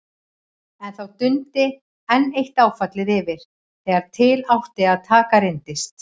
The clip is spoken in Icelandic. En þá dundi enn eitt áfallið yfir: þegar til átti að taka, reyndist